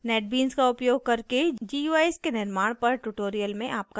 netbeans का उपयोग करके guis के निर्माण पर ट्यूटोरियल में स्वागत है